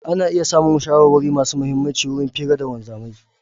Ana iya samun shawarwari masu mihimmaci wurin fira da wanzamai.